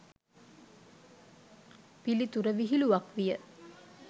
පිළිතුර විහිළුවක් විය